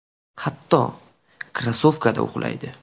Hatto, krossovkada uxlaydi.